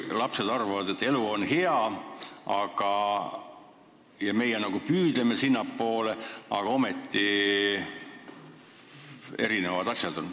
Lapsed arvavad, et elu on hea, ja meie nagu püüdleme sinnapoole, aga ometi on asjad erinevad.